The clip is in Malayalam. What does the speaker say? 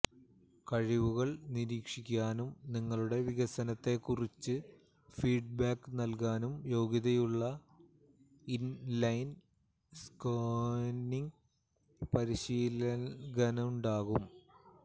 കഴിവുകൾ നിരീക്ഷിക്കാനും നിങ്ങളുടെ വികസനത്തെക്കുറിച്ച് ഫീഡ്ബാക്ക് നൽകാനും യോഗ്യതയുള്ള ഇൻലൈൻ സ്കേറ്റിംഗ് പരിശീലകനുണ്ടാകും